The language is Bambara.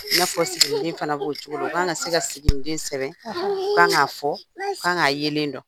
N'a fɔ siginiden fana b'o cogo la u kan ka ka se ka sigiden sɛbɛn k'a fɔ k'a yelen dɔn.